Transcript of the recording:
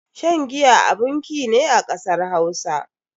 Shan giya abun ki ne a kasar Hausa.